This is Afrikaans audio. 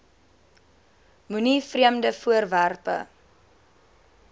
moenie vreemde voorwerpe